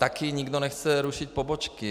Taky nikdo nechce rušit pobočky.